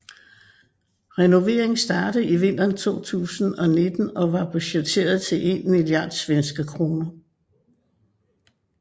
Renoveringen startede i vinteren 2019 og var budgetteret til en milliard svenske kroner